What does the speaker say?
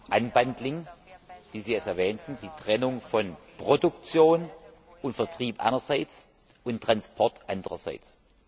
Erstens wie Sie es erwähnten die Trennung von Produktion und Vertrieb einerseits und Transport andererseits.